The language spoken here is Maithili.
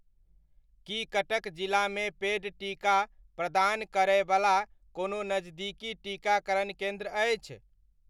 की कटक जिलामे पेड टीका प्रदान करय बला कोनो नजदीकी टीकाकरण केन्द्र अछि ?